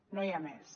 no hi ha més